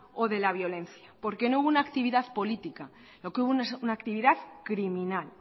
o de la violencia porque no hubo una actividad política lo que hubo es una actividad criminal